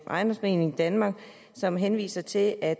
ejendomsforeningen danmark som henviser til at